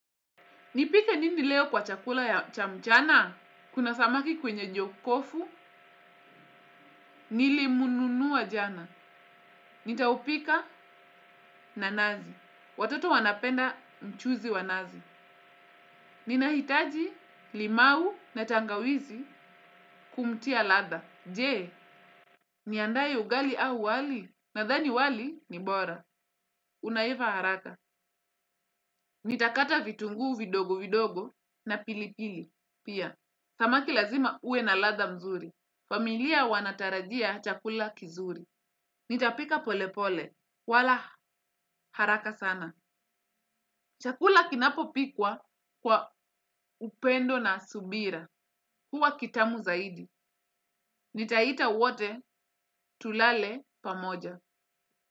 Nipike nini leo kwa chakula cha mchana? Kuna samaki kwenye jokofu, nilimnunua jana. Nitaupika na nazi. Watoto wanapenda mchuuzi wa nazi. Ninahitaji limau na tangawizi kumtia ladha. Je, niandae ugali au wali? Nadhani wali ni bora. Unaiva haraka. Nitakata vitunguu vidogo vidogo na pilipili. Pia, samaki lazima uwe na ladha mzuri. Familia wanatarajia chakula kizuri. Nitapika polepole. Wala haraka sana. Chakula kinapopikwa kwa upendo na subira. Huwa kitamu zaidi. Nitaita wote tulale pamoja.